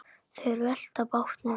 Þeir velta bátnum við.